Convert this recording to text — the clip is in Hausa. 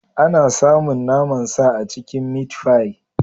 Ana samun naman sa a cikin mitfai.